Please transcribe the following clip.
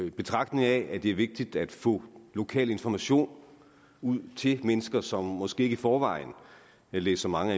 i betragtning af at det er vigtigt at få lokal information ud til mennesker som måske ikke i forvejen læser mange